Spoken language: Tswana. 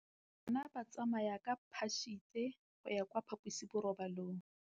Bana ba tsamaya ka phašitshe go ya kwa phaposiborobalong.